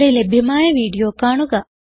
ഇവിടെ ലഭ്യമായ വീഡിയോ കാണുക